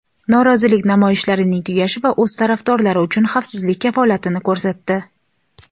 norozilik namoyishlarining tugashi va o‘z tarafdorlari uchun xavfsizlik kafolatini ko‘rsatdi.